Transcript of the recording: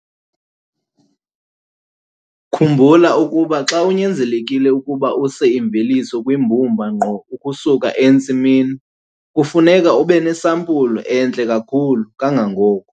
Khumbula ukuba xa unyanzelekile ukuba use imveliso kwimbumba ngqo ukusuka entsimini, kufuneka ube nesampulu entle kakhulu kangangoko.